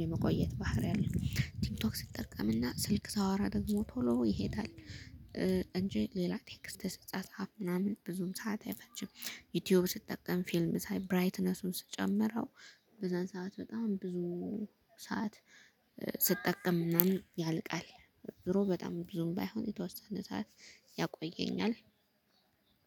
የመቆየት ባህሪ አለ ቲክቶክ ስጠቀምና ስልክ ሳወራ ደግሞ ቶሎ ይሄዳል። እንጂ ሌላ ቴክስት ስጻጻፍ ምናምን ብዙም ሰዓት አይፈጅም። ዩቲዩብ ስጠቀም ፊልም ሳይ ብራይትነሱን ስጨምረው በዛን ሰዓት በጣም ብዙ ሰዓት ስጠቀም ምናምን ያልቃል። ድሮ በጣም ብዙም ባይሆን የተወሰነ ሰዓት